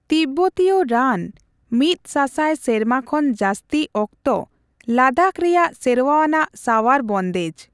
ᱛᱤᱵᱵᱚᱛᱤᱭᱚ ᱨᱟᱱ ᱢᱤᱫ ᱥᱟᱥᱟᱭ ᱥᱮᱨᱢᱟ ᱠᱷᱚᱱ ᱡᱟᱹᱥᱛᱤ ᱚᱠᱛᱚ ᱞᱟᱫᱟᱠᱷ ᱨᱮᱭᱟᱜ ᱥᱮᱨᱣᱟᱼᱟᱱᱟᱜ ᱥᱟᱸᱣᱟᱨ ᱵᱚᱱᱫᱮᱡ ᱾